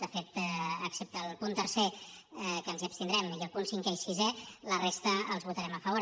de fet excepte el punt tercer que ens hi abstindrem i el punt cinquè i sisè a la resta hi votarem a favor